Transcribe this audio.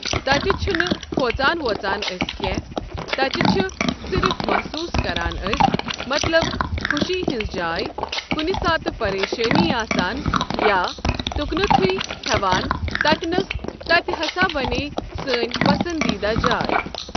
تتہ چھنہٕ کھوژان ووژان اَسہِ کٮ۪نٛہہ تتہِ چھ صِرف محصوٗس کران أسۍ مطلب خوشی ہٕنٛز جاے کنہِ ساتہٕ پریشٲنی آسان یا تکنتھٕے بیہوان تتہِ نَس تتہِ ہسا بنییہ سٲنۍ پسنٛدیٖدہ جاے۔